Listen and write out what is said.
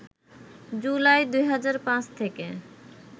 জুলাই ২০০৫ থেকে